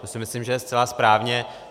To si myslím, že je zcela správně.